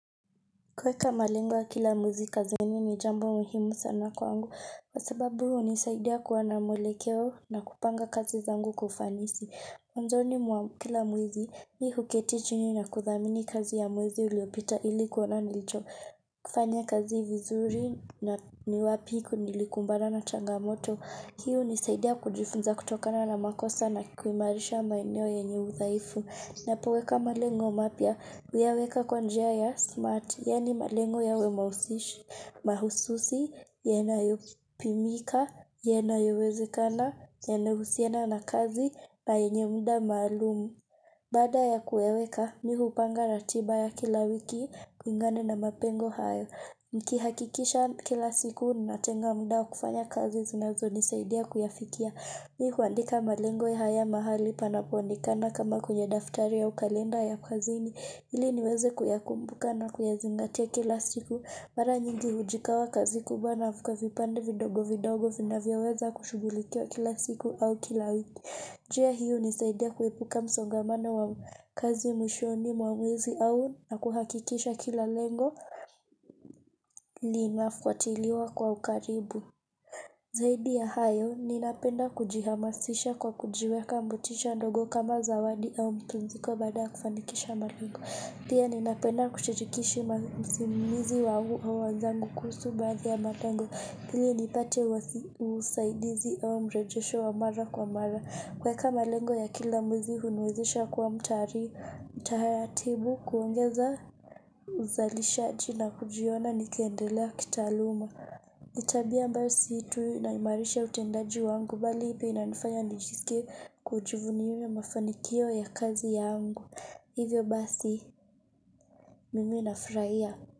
Kuweka malengo ya kila mwezi kazini ni jambo muhimu sana kwangu. Kwa sababu hunisaidia kuwa na mwelekeo na kupanga kazi zangu kwa ufanisi. Mwanzoni mwa kila mwezi mi huketi chini na kuthamini kazi ya mwezi uliopita ili kuona nilicho. Kufanya kazi vizuri na ni wapi nilikumbana na changamoto. Hii hunisaidia kujifunza kutokana na makosa na kikuimarisha maeneo yenye udhaifu. Ninapoweka malengo mapya, huyaweka kwa njia ya smart, yaani malengo yawe mausish, mahususi, yanayopimika, yanayowezekana, yanayohusiana na kazi, na yenye muda maalum. Baada ya kuyaweka, mi hupanga ratiba ya kila wiki, kulingana na mapengo hayo. Nikihakikisha kila siku, ninatenga muda wa kufanya kazi zinazonisaidia kuyafikia. Mi huandika malengo ya haya mahali panapoonekana kama kwenye daftari au kalenda ya kazini ili niweze kuyakumbuka na kuyazingatia kila siku. Mara nyingi hujigawa kazi kubwa na kwa vipande vidogo vidogo vinavyoweza kushughulikiwa kila siku au kila wiki. Njia hii hunisaidia kuepuka msongamanano wa kazi mwishoni mwa mwezi au na kuhakikisha kila lengo linafuatiliwa kwa ukaribu. Zaidi ya hayo, ninapenda kujihamasisha kwa kujiweka motisha ndogo kama zawadi au mapumziko baada kufanikisha malengo. Pia ninapenda kushirikisha usimamizi wa wenzangu kuhusu baadhi ya malengo, ili nipate usaidizi au mrejesho wa mara kwa mara. Kuweka malengo ya kila mwizi huniwezisha kwa mtari, mtaratibu kuongeza uzalishaji na kujiona nikiendelea kitaaluma. Ni tabia ambayo si tu inaimarisha utendaji wangu bali pia na inanifanya nijiskie kujuvunia mafanikio ya kazi yangu. Hivyo basi mimi nafurahia.